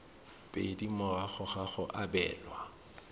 pedi morago ga go abelwa